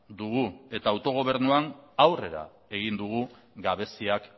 dugu eta autogobernuan aurrera egin dugu gabeziak